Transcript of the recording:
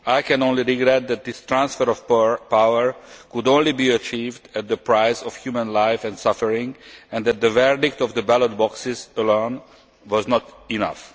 I can only regret that this transfer of power could only be achieved at the price of human life and suffering, and that the verdict of the ballot boxes alone was not enough.